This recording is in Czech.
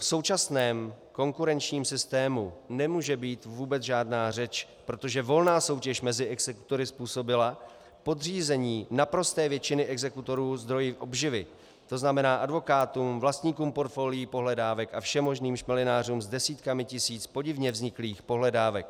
V současném konkurenčním systému nemůže být vůbec žádná řeč, protože volná soutěž mezi exekutory způsobila podřízení naprosté většiny exekutorů zdroji obživy, to znamená advokátům, vlastníkům portfolií pohledávek a všemožným šmelinářům s desítkami tisíc podivně vzniklých pohledávek.